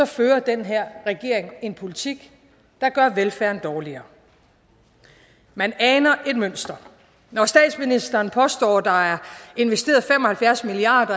fører den her regering en politik der gør velfærden dårligere man aner et mønster når statsministeren påstår at der er investeret fem og halvfjerds milliard